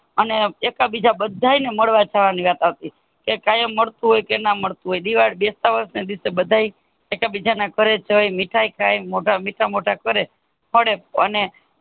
એકા બીજા બાધા ને મળવા જવા ની વાત આવતી એ કાયમ મળતું હોય કે ના મળતું હોય દિવાળી બેશતા વર્ષ ને દિવશ બધા એકા બીજા ઘરે જય મીઠાઈ ખાયે મીઠા મોઢા કરે મળે અને